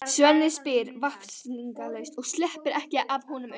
Svenni spyr vafningalaust og sleppir ekki af honum augunum.